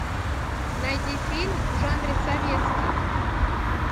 найди фильм в жанре советский